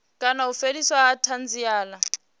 kana u fheliswa ha thanziela